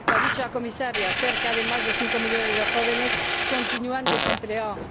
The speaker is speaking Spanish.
Lo ha dicho la Comisaria cerca de más de cinco millones de jóvenes continúan desempleados.